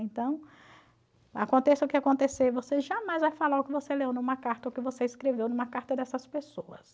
Então, aconteça o que acontecer, você jamais vai falar o que você leu numa carta ou o que você escreveu numa carta dessas pessoas.